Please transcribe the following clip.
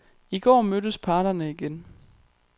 I går mødtes parterne igen.